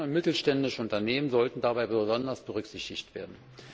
Kleine und mittelständische Unternehmen sollten dabei besonders berücksichtigt werden.